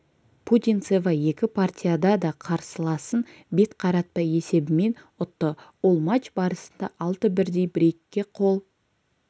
путинцева екі партияда да қарсыласын бет қаратпай есебімен ұтты ол матч барысында алты бірдей брейкке қол